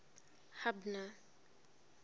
hubner